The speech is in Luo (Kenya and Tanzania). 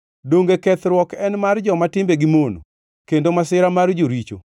Donge kethruok en mar joma timbegi mono, kendo masira mar joricho?